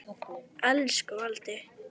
Elsku Valdi.